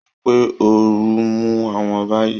Wọ́n sọ pé ooru ń mú àwọn báyìí